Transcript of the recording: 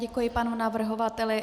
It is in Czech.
Děkuji panu navrhovateli.